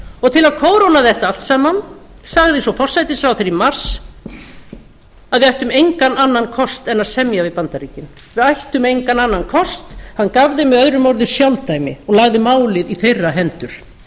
og til að kóróna þetta allt saman sagði svo forsætisráðherra í mars að við ættum engan annan kost en að semja við bandaríkin við ættum engan annan kost hann gaf þeim möo sjálfdæmi og lagði málið í þeirra hendur